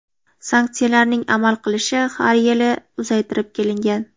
Sanksiyalarning amal qilishi har yili uzaytirib kelingan.